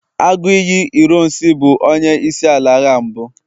Aguiyi ironsi bu onye isi ala agha mbu